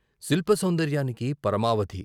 శిల్ప సౌందర్యానికి పరమావధి.